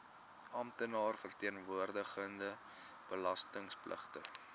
amptenaar verteenwoordigende belastingpligtige